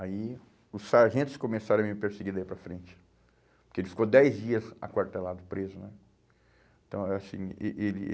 Aí os sargentos começaram a me perseguir daí para frente, porque ele ficou dez dias aquartelado, preso, né? Então, é assim, eh eh ele